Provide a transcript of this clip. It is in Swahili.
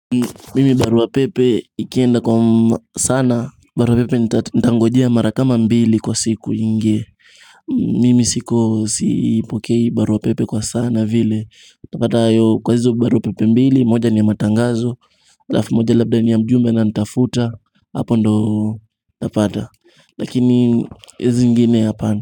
Mimi barua pepe ikienda kwa sana barua pepe nita nitangojea mara kama mbili kwa siku iingie mimi siko sipokei barua pepe kwa sana vile utapatayo kwa hizo barua pepe mbili moja ni ya matangazo. Alafu moja labda ni ya mjumbe ananitafuta hapo ndiyo utapata. Lakini hizi zingini hapana.